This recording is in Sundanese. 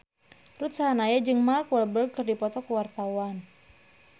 Ruth Sahanaya jeung Mark Walberg keur dipoto ku wartawan